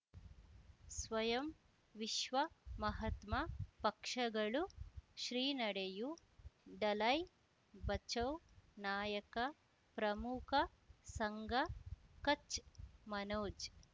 ಸ್ವಯಂ ವಿಶ್ವ ಮಹಾತ್ಮ ಪಕ್ಷಗಳು ಶ್ರೀ ನಡೆಯೂ ದಲೈ ಬಚೌ ನಾಯಕ ಪ್ರಮುಖ ಸಂಘ ಕಚ್ ಮನೋಜ್